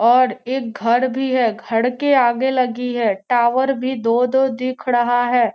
और एक घर भी है घर के आगे लगी है टॉवर भी दो-दो दिख रहा है।